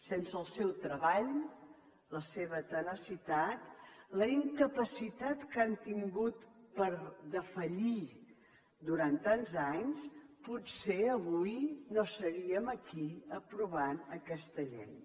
sense el seu treball la seva tenacitat la incapacitat que han tingut per defallir durant tants anys potser avui no seríem aquí aprovant aquesta llei